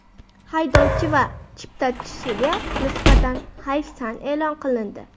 Haydovchi va chiptachiga nisbatan hayfsan e’lon qilindi.